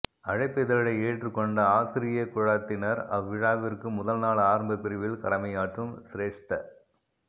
அழைப்பிதழை ஏற்றுக்கொண்ட ஆசிரிய குழாத்தினர் அவ் விழாவிற்கு முதல்நாள் ஆரம்பப் பிரிவில் கடமையாற்றும் சிரேஷ்ட